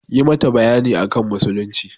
Yi mata bayani akan musulunci!